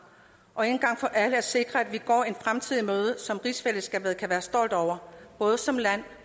og en gang for alle sikre at vi går en fremtid i møde som rigsfællesskabet kan være stolte over både som land